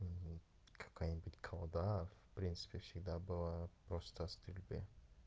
какая-нибудь колода в принципе всегда была просто стрельбе